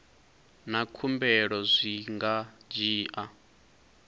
na khumbelo zwi nga dzhia